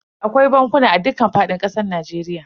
Akwai bankuna a dukkan fadin kasar Najeriya.